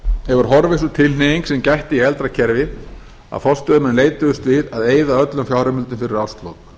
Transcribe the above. hefur horfið sú tilhneiging sem gætti í eldra kerfi að forstöðumenn leituðust á að eyða öllum fjárheimildum fyrir árslok